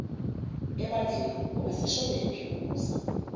ebandleni ubeseshonephi ubuza